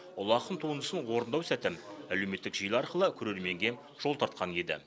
ұлы ақын туындысын орындау сәті әлеуметтік желі арқылы көрерменге жол тартқан еді